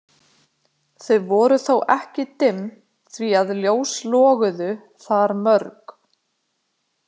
Þau voru þó ekki dimm því að ljós loguðu þar mörg.